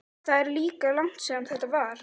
Það er líka langt síðan þetta var.